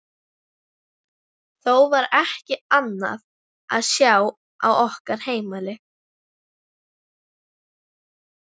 Þó var ekki annað að sjá á okkar heimili.